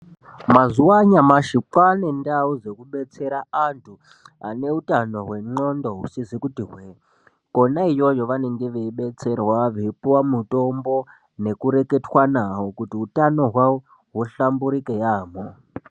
Mazuva anyamashi kwaane ndau dzekubetsera antu ane hutano hwendxondo husizi kuti hwee konaiyoyo vanenge veibetserwa veipuwa mutombo nekureketwa nawo kuti hutano hwawo huhlamburike yaamho